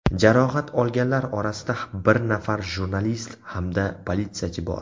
Jarohat olganlar orasida bir nafar jurnalist hamda politsiyachi bor.